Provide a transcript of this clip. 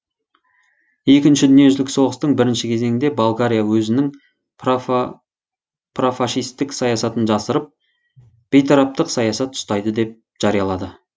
екінші дүниежүзілік соғыстың бірінші кезеңінде болгария өзінің профашистік саясатын жасырып бейтараптық саясат ұстайды деп жариялады